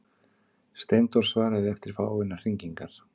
Steindór svaraði eftir fáeinar hringingar.